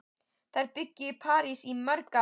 Þær bjuggu í París í mörg ár.